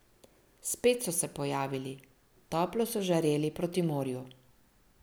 Spet so se pojavili, toplo so žareli proti morju.